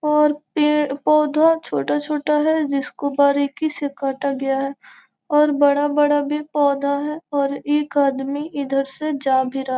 और पेड़-पौधों छोटा-छोटा है जिसको बारीकी से कटा गया है और बड़ा-बड़ा भी पौधा है और एक आदमी इधर से जा भी रहा है।